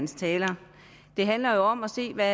taler det handler jo om at se hvad